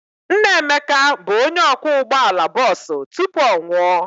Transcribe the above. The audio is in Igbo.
Nna Emeka bụ onye ọkwọ ụgbọala bọọsụ tupu ọ nwụọ.